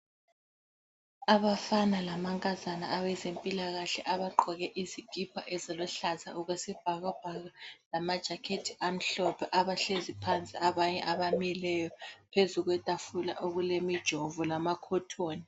Abafana lamankazana abezempilakahle abagqoke izikipha eziluhlaza okwesibhakabhaka lamajacket amhlophe abahlezi phansi abanye abamileyo phezu kwetafula okulemijovo lamakhothoni.